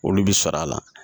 Olu bi sɔrɔ a la